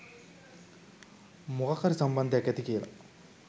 මොකක් හරි සම්බන්ධයක් ඇති කියලා.